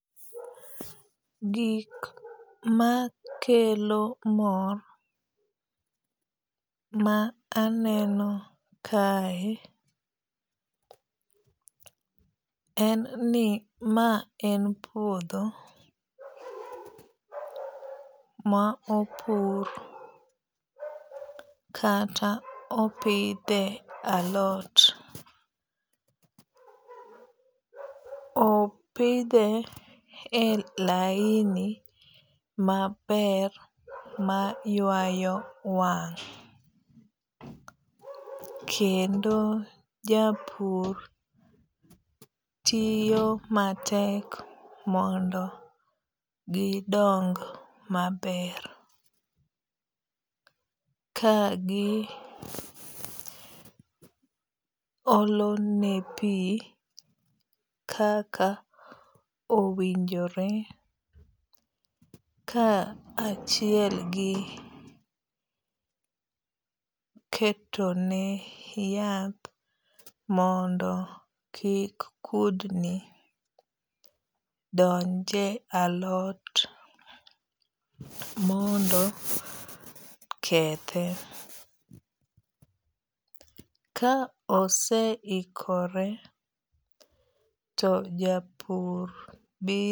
Gik makelo mor ma aneno kae en ni ma en puodho ma opur kata opidhe alot. Opidhe a laini maber ma ywayo wang'. Kendo japur tiyo matek mondo gidong maber kagi olone pi kaka owinjore ka achiel gi ketone yath mondo kik kudgi donje alot mondo kethe. Ka ose ikore to japur.